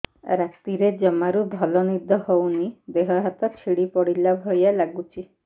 ରାତିରେ ଜମାରୁ ଭଲ ନିଦ ହଉନି ଦେହ ହାତ ଛିଡି ପଡିଲା ଭଳିଆ ଲାଗୁଚି